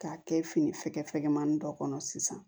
K'a kɛ fini fɛkɛ fɛkɛmani dɔ kɔnɔ sisan